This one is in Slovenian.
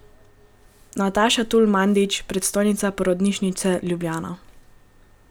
Nataša Tul Mandić, predstojnica Porodnišnice Ljubljana.